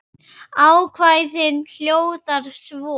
Ákvæðið hljóðar svo